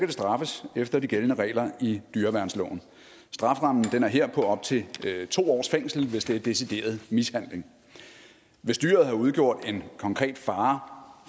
straffes efter de gældende regler i dyreværnsloven strafferammen er her på op til to års fængsel hvis det er decideret mishandling hvis dyret har udgjort en konkret fare